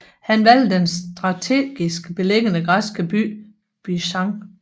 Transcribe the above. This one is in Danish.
Han valgte den strategisk beliggende græske by Byzans